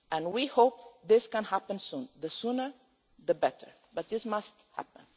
We hope this can happen soon the sooner, the better but it must happen.